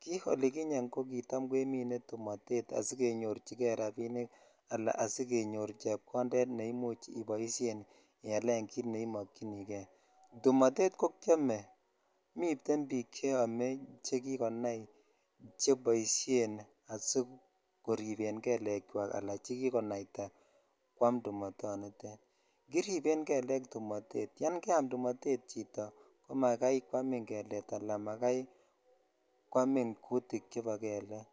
ki oliginyen ko kitam kemine tumotet asikenyorchi kei rabinikala asikenyo chepkonded ne imuch iboishen ialen kit neimokyini kei tumotet ko kiomemiten bik cheome chekikonai chebishhlen asikorib gelek chwak ala chekikonaita kwam tumotonitet kiriben gelek tumotet yan keam tumotet chito ko makai kwanin gelded ala kwamin kutik chebo gelek.